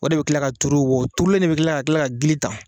O de be kila ka tuuru wa o tuurulen de be kila ka kila ka gili ta